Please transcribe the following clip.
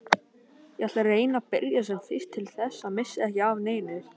Ég ætla að reyna að byrja sem fyrst til þess að missa ekki af neinu.